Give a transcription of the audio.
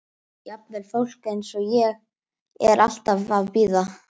Jafnvel fólk eins og ég er alltaf eitthvað að bíða.